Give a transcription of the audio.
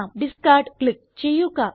discard click ചെയ്യുക